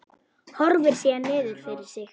Horfir síðan niður fyrir sig.